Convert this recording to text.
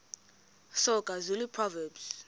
soga zulu proverbs